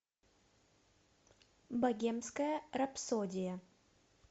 богемская рапсодия